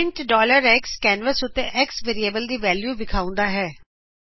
print xਕੈਨਵਸ ਉੱਤੇ x variable ਦੀ ਵੈਲਿਉ ਵਿਖਾਉਂਦਾ ਹੈਂ